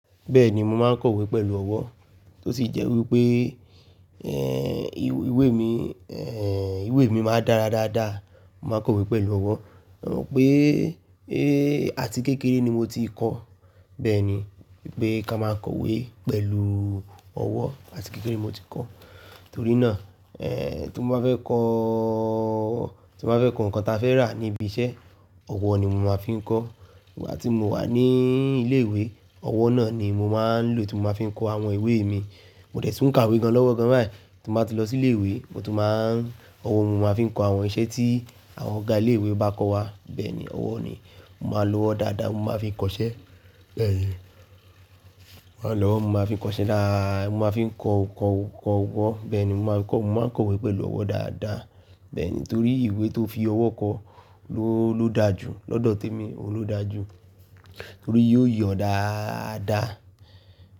Bẹ́ẹ̀ni, mo máa ń kọ̀wé pẹ̀lú ọwọ́, tó sì jẹ́ wí pé, ẹ́, ìwé mi, ẹ́, ìwé mi máa dára dáadáa. Mo máa ń kọ̀wé pẹ̀lú ọwọ́. Mo mọ̀ pé, ẹ́, àti kékeré ni mo ti kọ́. Bẹ́ẹ̀ni, pé kí a máa ń kọ̀wé pẹ̀lú ọwọ́ àti kékeré mo ti kọ́. Torí náà, ẹ́, tí mo bá fẹ́ kọ́, tí mo bá fẹ́ kọ́ nǹkan tí a fẹ́ rà níbi iṣẹ́, ọwọ́ ni mo máa fi ń kọ́. Ìgbà tí mo wà ní ilé-ìwé, ọwọ́ náà ni mo máa ń lò tí mo máa fi ń kọ́ àwọn ìwé mi. Mo dẹ̀ tún kàwé gan-an lọ́wọ́ gan-an báyìí. Tí mo bá ti lọ sí ilé-ìwé, mo tún máa ń, ọwọ́ ni mo máa n fi ń kọ́ àwọn iṣẹ́ tí àwọn ọ̀gá ilé-ìwé bá kọ wá. Bẹ́ẹ̀ni, ọwọ́ ni. Mo máa lo ọwọ́ dáadáa, mo máa fi ń kọṣẹ́. Bẹ́ẹ̀ni, ọwọ́ ni mo máa fi ń kọṣẹ́ dá, mo máa fi ń kọ, kọ, kọ, wọ́. Bẹ́ẹ̀ ni, mo máa ń kọ, mo máa ń kọ̀wé pẹ̀lú ọwọ́ dáadáa. Bẹ́ẹ̀ ni, torí ìwé tó fi ọwọ́ kọ ló, ló dáa jù. Lọ́dọ̀ temi, òun ló dáa jù torí yóò yọ̀ dáadáa.